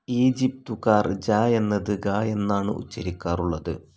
ഈജിപ്തുകാർ ജ എന്നത് ഗ എന്നാണ് ഉച്ചരിക്കാറുള്ളത്.